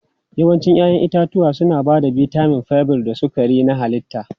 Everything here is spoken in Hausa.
Yawancin 'ya'yan itatuwa suna ba da bitamin, fiber da sukari na halitta.